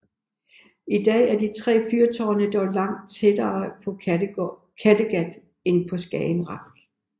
I dag er de tre fyrtårne dog langt tættere på Kattegat end på Skagerrak